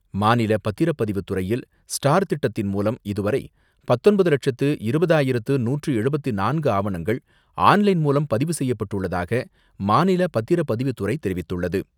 மாநில பத்திரப்பதிவுத்துறையில் ஸ்டார் திட்டத்தின் மூலம், இதுவரை பத்தொன்பது லட்சத்து இருபதாயிரத்து நூற்று எழுபத்தி நான்கு ஆவணங்கள் ஆன் லைன் மூலம் பதிவு செய்யப்பட்டுள்ளதாக மாநில பத்திரப்பதிவுத்துறை தெரிவித்துள்ளது.